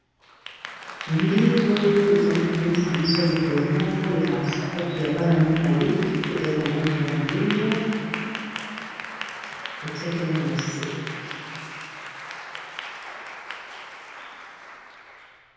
mbili oyo ezali komonisa biso lokolo moko ya sapatu ya bana mibali ezali na lange ya moindo na tiekengo na se